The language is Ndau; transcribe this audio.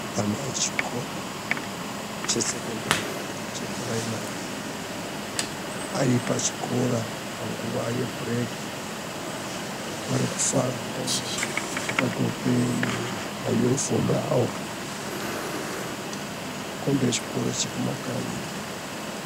Ana echikora chesekendari chepuraimari aripachikora panguva yebhureki. Arikufara hawo akadxoke manyufomu awo. Kukombe chikoro chekumakanyi.